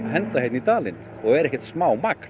henda hérna í dalinn og er ekkert smá magn